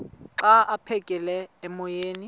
xa aphekela emoyeni